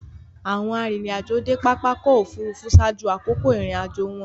Awọn arinrin-ajo de pápá ọkọ̀ òfurufú ṣaaju akoko irin-ajo wọn